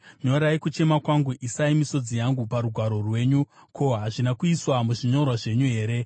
Nyorai kuchema kwangu; isai misodzi yangu parugwaro rwenyu, ko, hazvina kuiswa muzvinyorwa zvenyu here?